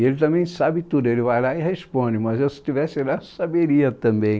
E ele também sabe tudo, ele vai lá e responde, mas se eu estivesse lá, eu saberia também.